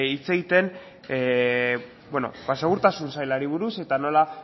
hitz egiten segurtasun sailari buruz eta nola